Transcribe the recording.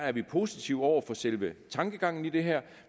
er vi positive over for selve tankegangen i det her